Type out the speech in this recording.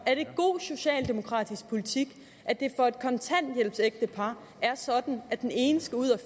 er det god socialdemokratisk politik at det for et kontanthjælpsægtepar er sådan at den ene skal ud at